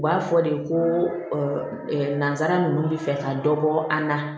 U b'a fɔ de ko nanzara ninnu bɛ fɛ ka dɔ bɔ an na